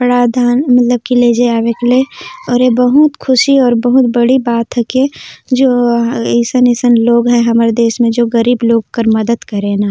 कपड़ा धान मतलब की लेजे आवेक लै और ए बहुत खुशी और बहुत बड़ी बात हके जो अइसन अइसन लोग है हमर देश में जो गरीब लोग कर मदद करेना।